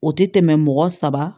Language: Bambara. O tɛ tɛmɛ mɔgɔ saba